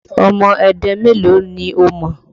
Ọmọ Ẹdẹ mélòó ni o mọ̀?